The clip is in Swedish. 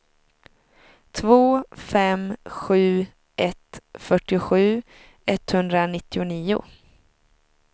två fem sju ett fyrtiosju etthundranittionio